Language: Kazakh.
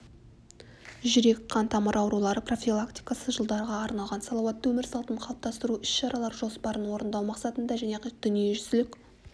жүрек қантамыр аурулары профилактикасы жылдарға арналған салауатты өмір салтын қалыптастыру іс-шаралар жоспарын орындау мақсатында және дүниежүзілік